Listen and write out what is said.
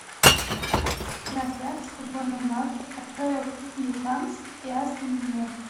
трансляция футбольного матча апл ньюкасл и астон вилла